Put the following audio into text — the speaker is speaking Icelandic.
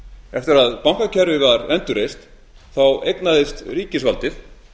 eftir að bankakerfið var endurreist þá eignaðist ríkisvaldið